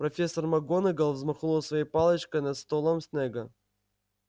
профессор макгонагалл взмахнула своей палочкой над столом снегга